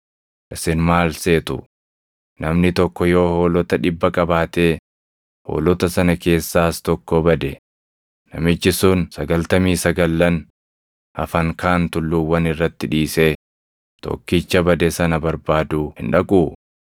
“Isin maal seetu? Namni tokko yoo hoolota dhibba qabaatee hoolota sana keessaas tokko bade, namichi sun sagaltamii sagallan hafan kaan tulluuwwan irratti dhiisee tokkicha bade sana barbaaduu hin dhaquu?